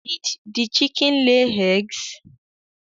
Did the chicken lay eggs?